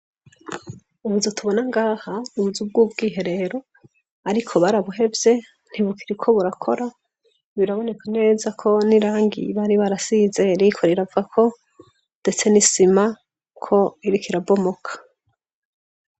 Ubuzu tubona ngaha, n'ubuzu bw'ubwiherero. Ariko barabuhevye ntibukiriko burakora, biraboneka neza ko n'irangi bari barasize ririko riravako ndetse n'isima ko irikirabomoka.